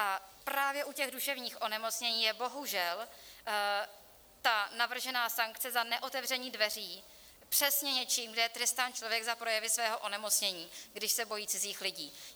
A právě u těch duševních onemocnění je bohužel ta navržená sankce za neotevření dveří přesně něčím, že je trestán člověk za projevy svého onemocnění, když se bojí cizích lidí.